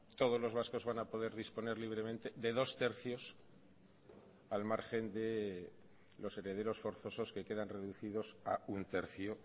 todos los vascos van a poder disponer libremente de dos barra tres al margen de los herederos forzosos que quedan reducidos a uno barra tres